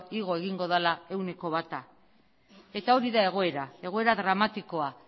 igo egingo dela ehuneko bata eta hori da egoera egoera dramatikoa